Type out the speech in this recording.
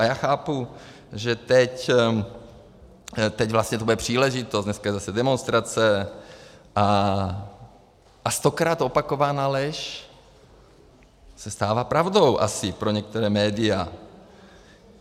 A já chápu, že teď vlastně to bude příležitost, dneska je zase demonstrace, a stokrát opakovaná lež se stává pravdou asi pro některá média.